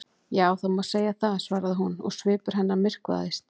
Já, það má segja það- svaraði hún og svipur hennar myrkvaðist.